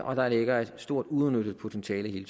og der ligger et stort uudnyttet potentiale i